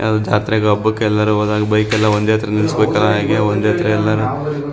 ಯಾವ್ ಜಾತ್ರೆ ಹಬ್ಬಕ್ಕೆ ಎಲ್ಲರು ಹೋದಾಗ ಬೈಕ್ ಎಲ್ಲ ಒಂದೇ ತರ ಹಾಗೆ ಒಂದೇತರ ಎಲ್ಲ--